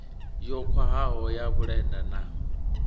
yo khwahaho ya vhulenda na